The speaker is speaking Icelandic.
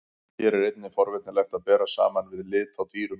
Hér er einnig forvitnilegt að bera saman við lit á dýrum.